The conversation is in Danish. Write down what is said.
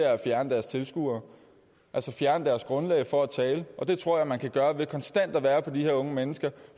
at fjerne deres tilskuere altså fjerne deres grundlag for at tale det tror jeg man kan gøre ved konstant at være opmærksomme på de her unge mennesker